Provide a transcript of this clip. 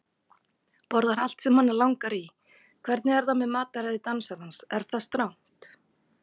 Borðar allt sem hana langar í Hvernig er með mataræði dansarans, er það strangt?